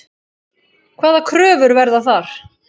Hvaða kröfur verða þar?